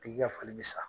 Tigi ka fali bɛ sa